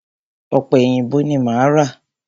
Ọ̀pẹ èyìǹbó ni máa ra.